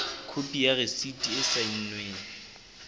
khopi ya rasiti e saennweng